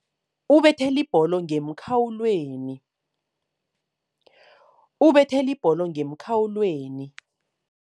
Ubethele ibholo ngemkhawulweni.